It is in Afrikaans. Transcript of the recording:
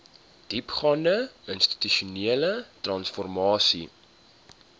diepgaande institusionele transformasie